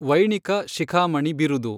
ವೈಣಿಖ ಶಿಖಾಮಣಿ ಬಿರುದು.